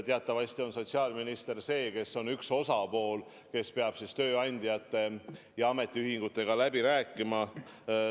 Teatavasti on sotsiaalminister see, kes ühe osapoolena peab tööandjate ja ametiühingutega läbi rääkima.